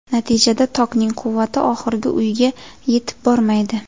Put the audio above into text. Natijada tokning quvvati oxirgi uyga yetib bormaydi.